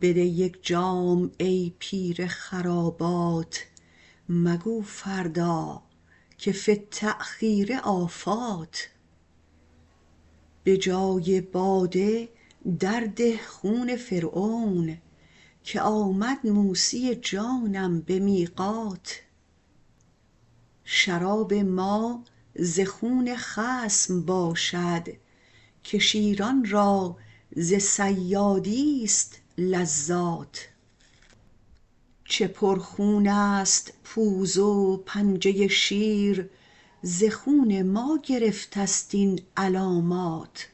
بده یک جام ای پیر خرابات مگو فردا که فی التأخیر آفات به جای باده درده خون فرعون که آمد موسی جانم به میقات شراب ما ز خون خصم باشد که شیران را ز صیادیست لذات چه پرخونست پوز و پنجه شیر ز خون ما گرفتست این علامات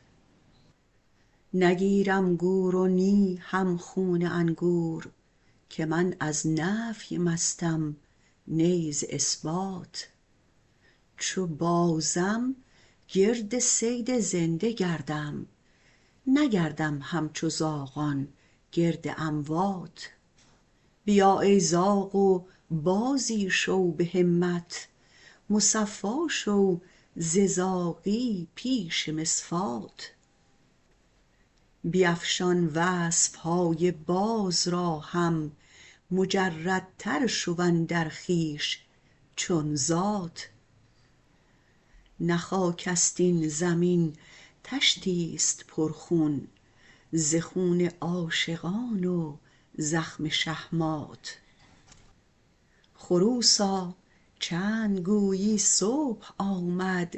نگیرم گور و نی هم خون انگور که من از نفی مستم نی ز اثبات چو بازم گرد صید زنده گردم نگردم همچو زاغان گرد اموات بیا ای زاغ و بازی شو به همت مصفا شو ز زاغی پیش مصفات بیفشان وصف های باز را هم مجردتر شو اندر خویش چون ذات نه خاکست این زمین طشتیست پرخون ز خون عاشقان و زخم شهمات خروسا چند گویی صبح آمد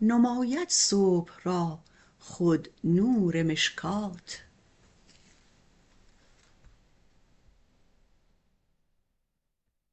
نماید صبح را خود نور مشکات